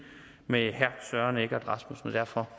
med herre søren egge rasmussen og derfor